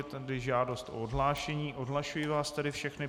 Je tady žádost o odhlášení, odhlašuji vás tedy všechny.